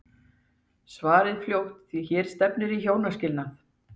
Svarið fljótt því hér stefnir í hjónaskilnað!